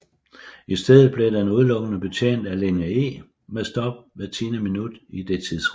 I stedet bliver den udelukkende betjent af linje E med stop hvert tiende minut i det tidsrum